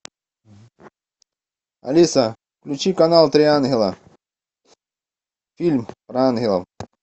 алиса включи канал три ангела фильм про ангелов